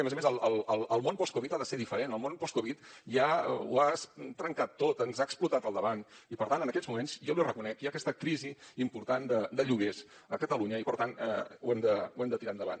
a més a més el món post covid ha de ser diferent al món post covid ja ho has trencat tot ens ha explotat al davant i per tant en aquests moments jo l’hi reconec hi ha aquesta crisi important de lloguers a catalunya i per tant ho hem de tirar endavant